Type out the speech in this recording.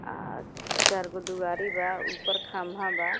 अ चारगो दुआरी बा ऊपर खंभा बा।